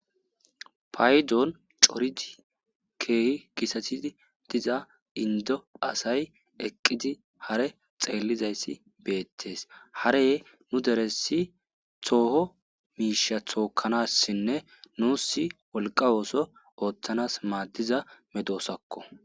paydon coridi keehi gitalatii diza indo asay eqqidi hare xeellizayssi beettes harey nu deressi tooho miisha thookkanassinne nuussi wolqa ooso ooththanas maaddiza medoosakko